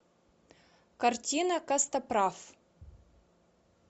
картина костоправ